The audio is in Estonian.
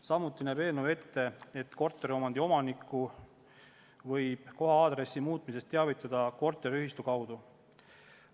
Samuti näeb eelnõu ette, et korteriomandi omanikku võib koha-aadressi muutmisest teavitada korteriühistu kaudu.